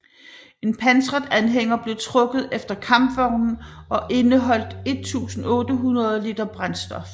En pansret anhænger blev trukket efter kampvognen og indeholdt 1800 liter brændstof